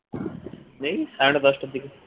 এই সাড়ে নয়টা দশটার দিকে